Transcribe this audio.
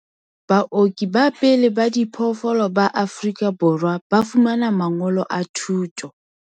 Baoki ba pele ba diphoofolo ba Afrika Borwa ba fumana mangolo a thuto.